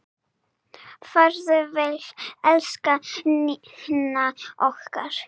Farðu vel, elsku Nína okkar.